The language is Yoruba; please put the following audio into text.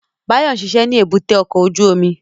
Báyọ̀ ń ṣiṣẹ́ ní èbúté ọkọ̀ ojú omi